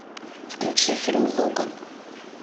включи фильм логан